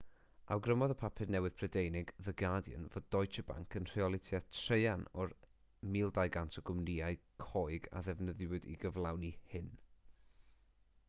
awgrymodd y papur newydd prydeinig the guardian fod deutsche bank yn rheoli tua thraean o'r 1200 o gwmnïau coeg a ddefnyddiwyd i gyflawni hyn